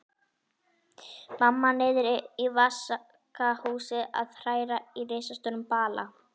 Mamma niðri í vaskahúsi að hræra í risastórum bala.